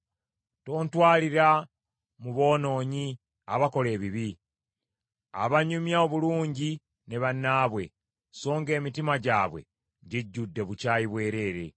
Tontwalira mu boonoonyi, abakola ebibi; abanyumya obulungi ne bannaabwe, so ng’emitima gyabwe gijjudde bukyayi bwerere.